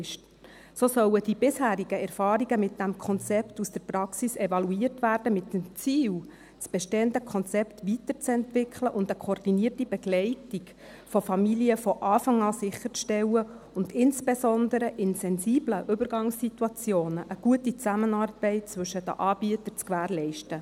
So sollen die bisherigen Erfahrungen mit diesem Konzept aus der Praxis evaluiert werden, mit dem Ziel, das bestehende Konzept weiterzuentwickeln und eine koordinierte Begleitung von Familien von Anfang an sicherzustellen und insbesondere in sensiblen Übergangssituationen eine gute Zusammenarbeit zwischen den Anbietern zu gewährleisten.